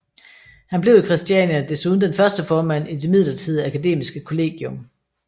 Han blev i Christiania desuden den første formand i det midlertidige akademiske kollegium